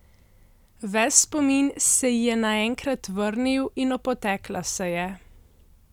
Ves spomin se ji je naenkrat vrnil in opotekla se je.